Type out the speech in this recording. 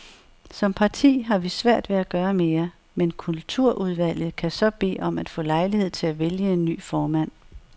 Som parti har vi svært ved at gøre mere, men kulturudvalget kan så bede om at få lejlighed til at vælge en ny formand.